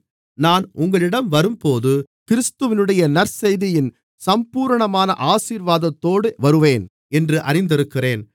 நான் உங்களிடம் வரும்போது கிறிஸ்துவினுடைய நற்செய்தியின் சம்பூரணமான ஆசீர்வாதத்தோடு வருவேன் என்று அறிந்திருக்கிறேன்